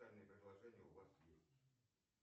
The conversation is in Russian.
специальные предложения у вас есть